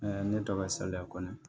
ne tɔgɔ ye saliya kɔnɔ